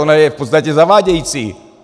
Ona je v podstatě zavádějící.